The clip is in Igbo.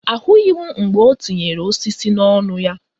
Ahụghị m mgbe o tinyere osisi n'ọnụ ya.